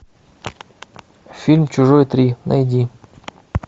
фильм чужой три найди